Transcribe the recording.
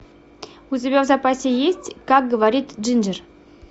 у тебя в запасе есть как говорит джинджер